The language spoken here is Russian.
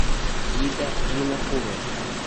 ида винокурова